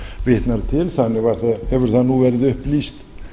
vitnar til þannig hefur það nú verið upplýst